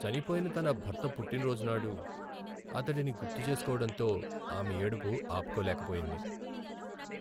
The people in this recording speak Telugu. చనిపోయిన తన భర్త పుట్టినరోజునాడు అతడిని గుర్తుచేసుకోవడంతో ఆమె ఏడుపు ఆపులేకపోయింది.